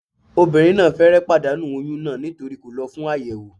Obìnrin náà fẹ́rẹ̀ẹ́ pàdánù oyún náà nítorí kò lọ fún àyẹ̀wò